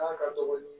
ka dɔgɔ